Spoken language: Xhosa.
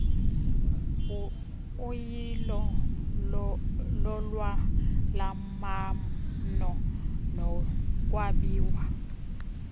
uyilo lolwalamano nokwabiwa